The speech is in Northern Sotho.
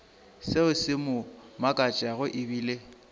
seo se mo makatšago ebile